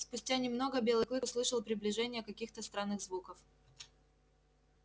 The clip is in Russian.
спустя немного белый клык услышал приближение каких то странных звуков